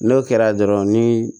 N'o kɛra dɔrɔn ni